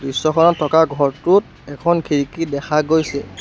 দৃশ্যখনত থকা ঘৰটোত এখন খিৰিকী দেখা গৈছে।